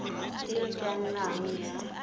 e e ka nnang ya